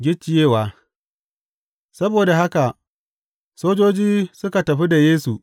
Gicciyewa Saboda haka sojoji suka tafi da Yesu.